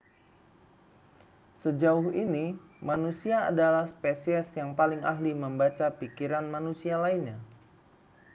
sejauh ini manusia adalah spesies yang paling ahli membaca pikiran manusia lainnya